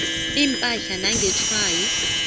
siphahla nangesjwayi